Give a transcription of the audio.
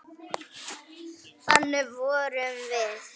Þannig vorum við.